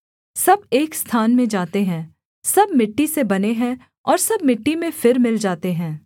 सब एक स्थान में जाते हैं सब मिट्टी से बने हैं और सब मिट्टी में फिर मिल जाते हैं